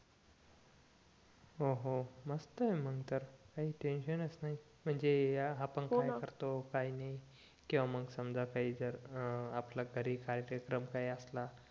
हो हो मस्त आहे मग तर काही टेन्शन च नाही हो ना म्हणजे या आपण काय करतो काय नाही किंवा मग समजा